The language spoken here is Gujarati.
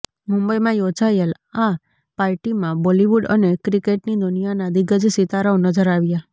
મુંબઇમાં યોજાયેલ આ પાર્ટીમાં બોલિવૂડ અને ક્રિકેટની દુનિયાનાં દિગ્ગજ સિતારાઓ નજર આવ્યા